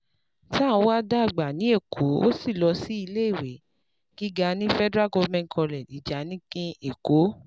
Tanwa dàgbà ní Èkó, ó sì lọ sí iléèwé gíga ní Federal Government College Ijanikin, Èkó.